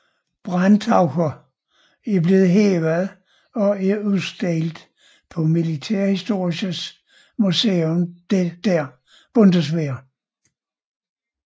Brandtaucher er blevet hævet og er udstillet på Militärhistorisches Museum der Bundeswehr